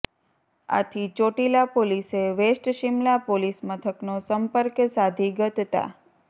આથી ચોટીલા પોલીસે west Simla police મથકનો સંપર્ક સાધી ગત તા